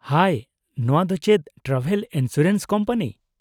-ᱦᱟᱭ , ᱱᱚᱣᱟ ᱫᱚ ᱪᱮᱫ ᱴᱨᱟᱵᱷᱮᱞ ᱤᱱᱥᱩᱨᱮᱱᱥ ᱠᱳᱢᱯᱟᱱᱤ ?